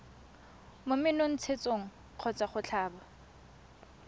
mo menontshetsong kgotsa go tlhaba